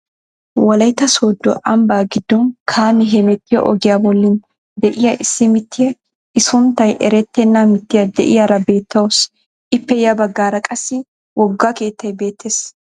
wolaytta sooddo ambbaa giiddon kaamee hemettiyoo ogiyaa bollan de'iyaa issi mittiyaa i sunttay erettena miitiyaa de'iyaara beettawus. ippe ya baggaara qassi wogga keettay beettees.